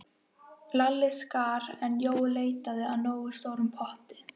Lalli skar, en Jói leitaði að nógu stórum potti.